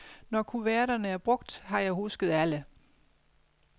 Når kuverterne er brugt, har jeg husket alle.